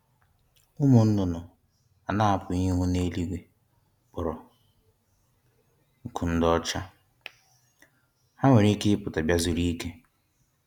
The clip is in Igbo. Ụmụ nnụnụ a na-apụghị ịhụ n’eluigwe, kporo nku dị ọcha; ha nwere ike pụta bịa zuru ike.